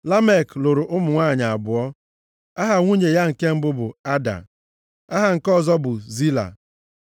Lamek lụrụ ụmụ nwanyị abụọ. Aha nwunye ya nke mbụ bụ Ada. Aha nke ọzọ bụ Zila.